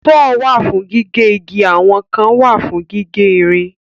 Sọ́ọ̀ wà fún gígé igi àwọn kan wà fún gígé ìrìn.